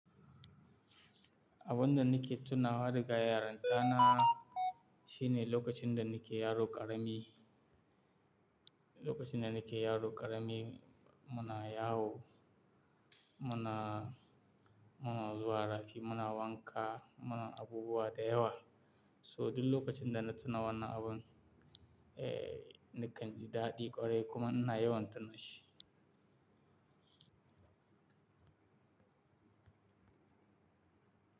Abun da nake tunawa da ga yaranta na shine lokacin da nake yaro ƙarami, lokacin da nake yaro ƙarami muna yawo, muna, muna zuwa rafi, muna wanka, muna abubuwa da yawa. So duk lokacin da na tuna wannan abun, eh, nakan ji daɗi ƙwarai kuma ina yawan tuna shi.